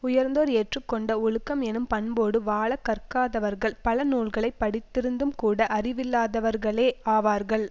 உயர்ந்தோர் ஏற்று கொண்ட ஒழுக்கம் எனும் பண்போடு வாழக் கற்காதவர்கள் பல நூல்களை படித்திருந்தும்கூட அறிவில்லாதவர்களே ஆவார்கள்